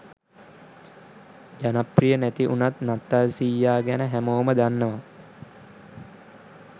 ජනප්‍රිය නැති උනත් නත්තල් සීයා ගැන හැමෝම දන්නවා.